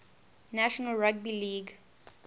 national rugby league